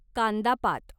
कांदा पात